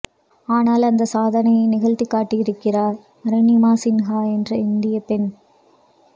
ஆனால் அந்த சாதனையை நிகழ்த்தி காட்டியிருக்கிறார் அருணிமா சின்கா என்ற இந்திய பெண்